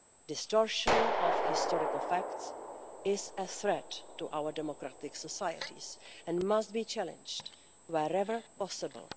Distortion of historical facts is a threat to our democratic societies and must be challenged wherever possible.